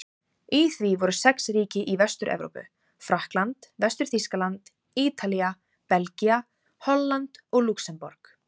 Í því voru sex ríki í Vestur-Evrópu: Frakkland, Vestur-Þýskaland, Ítalía, Belgía, Holland og Lúxemborg.